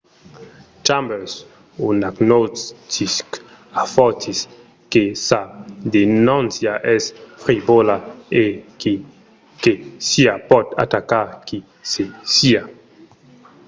chambers un agnostic afortís que sa denóncia es frivòla e qui que siá pòt atacar qui que siá.